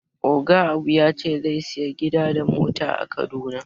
Oga Abu ya ce zai saya gida da mota a kaduna